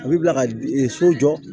A bɛ bila ka so jɔ